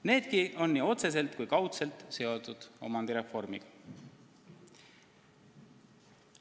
Needki on nii otseselt kui kaudselt seotud omandireformiga.